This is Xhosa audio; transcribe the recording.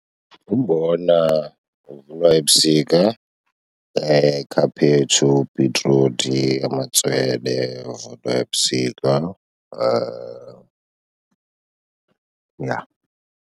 Umbona uvunwa ebusika, ikhaphetshu, bhitruthi, amatswele avunwa ebusika, yha.